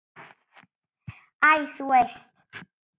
Æ, þú veist.